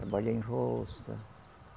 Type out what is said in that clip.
Trabalhar em roça.